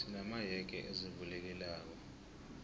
sina mayege azivulekelako